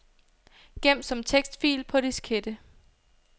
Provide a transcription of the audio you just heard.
Gem som tekstfil på diskette.